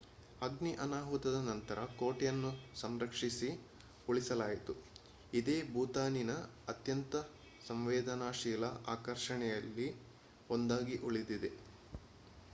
ಅಗ್ನಿ ಅನಾಹುತದ ನಂತರ ಕೋಟೆಯನ್ನು ಸಂರಕ್ಷಿಸಿ ಉಳಿಸಲಾಯಿತು ಇದೇ ಭೂತಾನಿನ ಅತ್ಯಂತ ಸಂವೇದನಾಶೀಲ ಆಕರ್ಷಣೆಗಳಲ್ಲಿ ಒಂದಾಗಿ ಉಳಿದಿದೆ